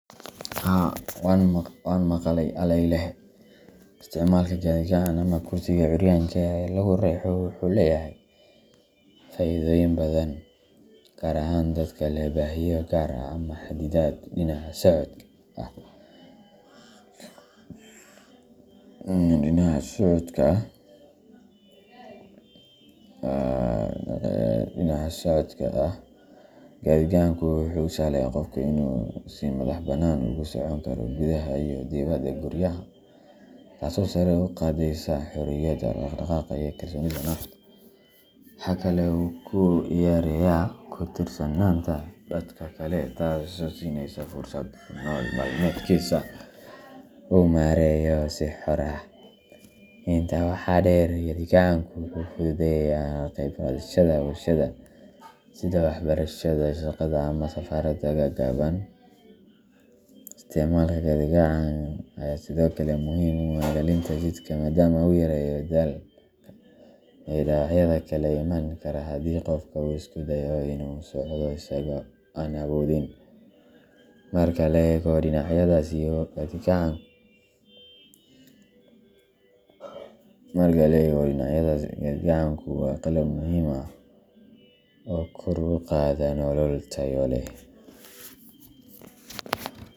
Haa , wan maqalay aleylehe, Isticmaalka gaadhi-gacan ama kursiga curyaanka ee la riixo wuxuu leeyahay faa’iidooyin badan, gaar ahaan dadka leh baahiyo gaar ah ama xaddidaad dhinaca socodka ah. Gaadhi-gacanku wuxuu u sahlayaa qofka inuu si madaxbannaan ugu socon karo gudaha iyo dibadda guryaha, taasoo sare u qaadaysa xorriyadda dhaqdhaqaaq iyo kalsoonida nafta. Waxa kale oo uu yareeyaa ku tiirsanaanta dadka kale, taasoo qofka siinaysa fursad uu nolol maalmeedkiisa u maareeyo si xor ah. Intaa waxaa dheer, gaadhi-gacanku wuxuu fududeeyaa ka qayb qaadashada bulshada, sida waxbarashada, shaqada, ama safarada gaagaaban. Isticmaalka gaadhi-gacan ayaa sidoo kale muhiim u ah ilaalinta jidhka, maadaama uu yareeyo daalka iyo dhaawacyada kale ee iman kara haddii qofka uu isku dayo inuu socdo isagoo aan awoodin. Marka la eego dhinacyadaas, gaadhi-gacanku waa qalab muhiim ah oo kor u qaada nolol tayo leh.